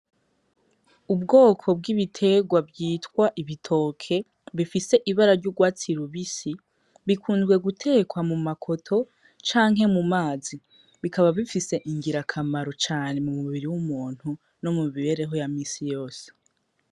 Ubwoko bw'ibiterwa bwitwa ibitoke bifise ibara ry'urwatsi rubisi, bikunzwe gutekwa mumakoto canke mumazi bikaba bifise ingirakamaro cane mu mubiri w'umuntu no mumibereho ya misiyose.